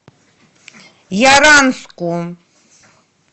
яранску